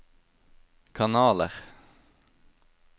kanaler